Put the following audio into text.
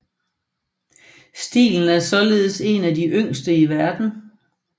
Stilen er således en af de yngste i verden